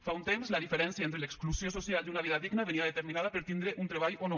fa un temps la diferència entre l’exclusió social i una vida digna venia determinada per tindre un treball o no